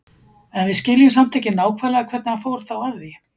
En við skiljum samt ekki nákvæmlega hvernig hann fór þá að því.